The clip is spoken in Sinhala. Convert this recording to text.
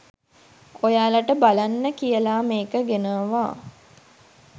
ඔයාලට බලන්න කියලා මේක ගෙනාවා